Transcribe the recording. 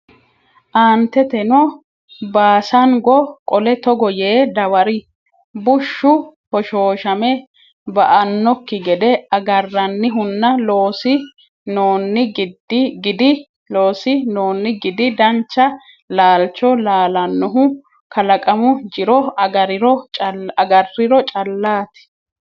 Aanteteno Baasango qole togo yee dawari Bushshu hoshooshame ba annokki gede agarannihunna loosi noonni gidi dancha laalcho laalannohu kalaqamu jiro agarriro callaati.